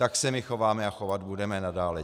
Tak se my chováme a chovat budeme nadále.